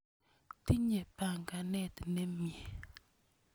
Tinye panganet ne mye.